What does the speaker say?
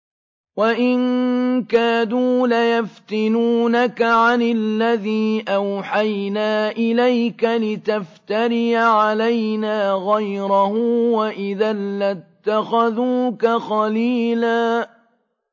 وَإِن كَادُوا لَيَفْتِنُونَكَ عَنِ الَّذِي أَوْحَيْنَا إِلَيْكَ لِتَفْتَرِيَ عَلَيْنَا غَيْرَهُ ۖ وَإِذًا لَّاتَّخَذُوكَ خَلِيلًا